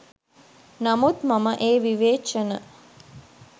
නමුත් මම ඒ විවේචන